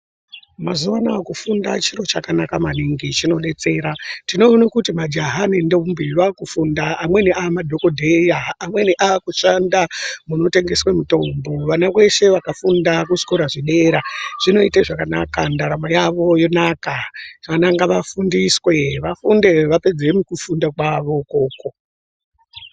Mazuva anawa kufunda chiro chakanaka maningi chinodetsera tinoona kuti majaha nendombi vakufunda amweni amadhokodheya amweni akushanda munotengeswa mitombo vana veshe vakafunda kuzvikora zvedera zvinoita zvakanaka ndaramo yavo yonaka vana ngavafundiswe vafunde vapedze mukufunda kwavo ikoko.